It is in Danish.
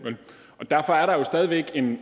en ny